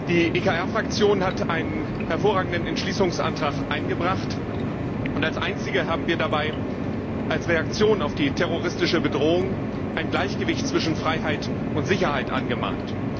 Die ECR Fraktion hat einen hervorragenden Entschließungsantrag eingebracht, und als Einzige haben wir dabei als Reaktion auf die terroristische Bedrohung ein Gleichgewicht zwischen Freiheit und Sicherheit angemahnt.